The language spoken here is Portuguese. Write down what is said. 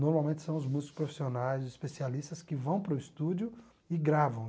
Normalmente são os músicos profissionais, especialistas, que vão para o estúdio e gravam.